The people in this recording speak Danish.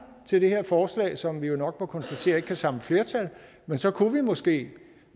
til det her forslag som vi jo nok må konstatere ikke kan samle flertal men så kunne vi måske